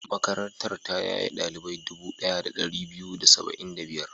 Makarantar ta yaye ɗalibai dubu ɗaya da ɗari biyu da da saba'in da biyar.